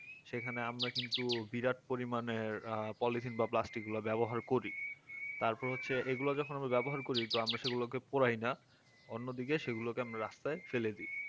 সেখানে আমরা কিন্তু বিরাট পরিমানে polythene বা plastic গুলা ব্যবহার করি তারপর হচ্ছে এগুলো যখন ব্যবহার করি তো আমরা সেগুলোকে পোড়াই না অন্যদিকে সেগুলোকে আমরা রাস্তায় ফেলে দি